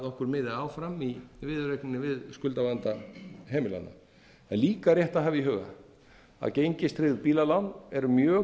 okkur boðið áfram í viðureigninni við skuldavanda heimilanna það er líka rétt að hafa í huga að gengistryggð bílalán eru mjög